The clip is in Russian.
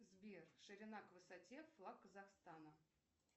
сбер ширина к высоте флаг казахстана